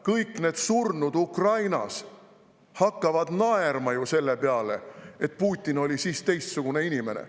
Kõik need surnud Ukrainas hakkavad ju naerma selle jutu peale, et Putin oli siis teistsugune inimene.